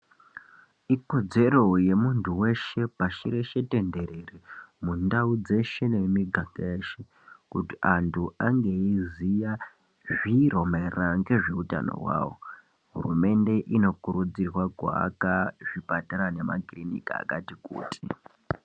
Ikodzero yemintu veshe pashireshe tenderere mundau dzeshe nemumiganga yeshe. Kuti antu ange eiziya zviro maererano ngezveutano hwavo. Hurumende kunokurudzirwa kuaka zvipatara nemakirinika akati kuti.